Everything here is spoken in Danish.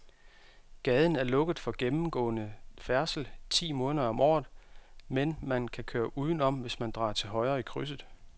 Gaden er lukket for gennemgående færdsel ti måneder om året, men man kan køre udenom, hvis man drejer til højre i krydset.